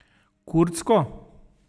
Kurdsko?